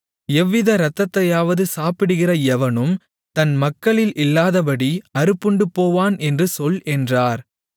எவ்வித இரத்தத்தையாவது சாப்பிடுகிற எவனும் தன் மக்களில் இல்லாதபடி அறுப்புண்டுபோவான் என்று சொல் என்றார்